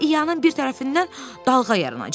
ia-ianın bir tərəfindən dalğa yaranacaq.